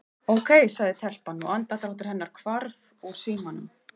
Ókei- sagði telpan og andardráttur hennar hvarf úr símanum.